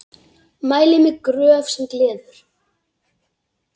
Mæli með Gröf sem gleður.